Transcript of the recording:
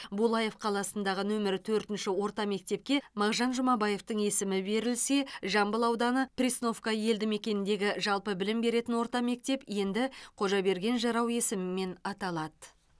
булаев қаласындағы нөмірі төртінші орта мектепке мағжан жұмабаевтың есімі берілсе жамбыл ауданы пресновка елді мекеніндегі жалпы білім беретін орта мектеп енді қожаберген жырау есімімен аталады